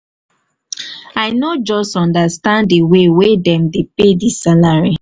i no just understand di way wey dem dey pay dis salary.